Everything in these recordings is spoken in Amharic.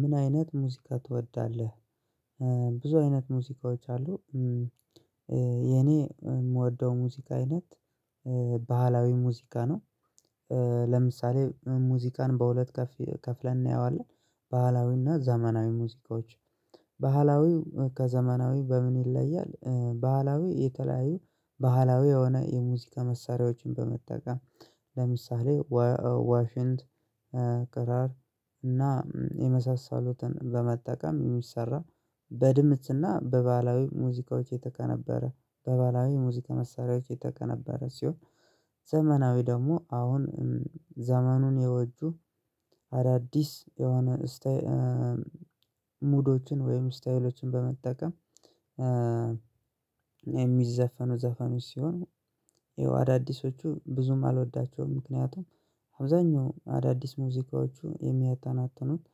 ምን አይነት ሙዚቃ ትወዳለህ? ብዙ አይነት ሙዚቃዎች አሉ። የኔ የምወደው ሙዚቃ አይነት ባህላዊ ሙዚቃ ነው። ለምሳሌ ሙዚቃን በሁለት ከፍ ከፍለን እናየዋለን ባህላዊና ዘመናዊ ሙዚቃዎች። ባህላዊ ከዘመናዊ በምን ይለያል? ባህላዊ የተለያዩ ባህላዊ የሆነ የሙዚቃ መሳሪያዎችን በመጠቀም። ለምሳሌ ዋሽንት ክራር እና የመሳሰሉትን በመጠቀም የሚሰራ። በድምትና በባላዊ ሙዚቃዎች የተቀነበረ በባላዊ ሙዚቃ መሳሪያዎች የተቀነበረ ሲሆን። ዘመናዊ ደግሞ አሁን ዘመኑን የወጁ አዳዲስ የሆነ ስታይል ሙዶችን ወይም ስታይሎችን በመጠቀም። የሚዘፈኑ ዘፈኖች ሲሆኑ። አዳዲሶቹ ብዙም አልወዳቸውም ምክንያቱም አብዛኛው አዳዲስ ሙዚቃዎቹ የሚያውተነትኑት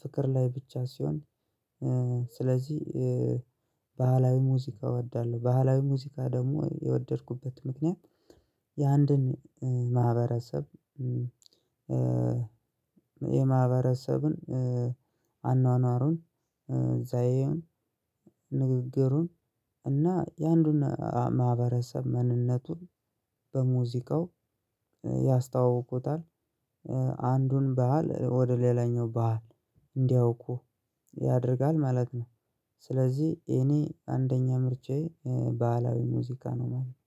ፍቅር ላይ ብቻ ሲሆን። ስለዚህ ባህላዊ ሙዚቃ እወዳለሁ። ባህላዊ ሙዚቃ ደግሞ የወደድኩበት ምክንያት የአንድን ማህበረሰብ የማህበረሰብን አኗኗሩን ዛይቤን ንግግሩን እና የአንዱን ማህበረሰብ ማንነቱን በሙዚቃው ያስተዋውቁታል። አንዱን በዓል ወደ ሌላኛው በዓል እንዲያውቁ ያደርጋል ማለት ነው። ስለዚህ እኔ አንደኛ ምርጫዬ ባህላዊ ሙዚቃ ነው ማለት ነው